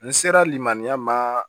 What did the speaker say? N sera limaniya ma